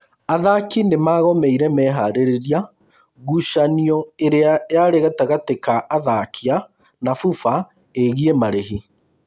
Athaki nĩmagomeire meharĩrĩria ngucanio ĩrĩa yarĩ gatagatĩ ka athakia na FUFA ĩĩgĩĩ marĩhi